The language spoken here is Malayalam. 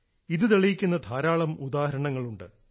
ഇത് തെളിയിക്കുന്ന ധാരാളം ഉദാഹരണങ്ങളുണ്ട്